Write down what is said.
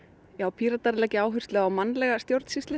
Píratar leggja áherslu á mannlega stjórnsýslu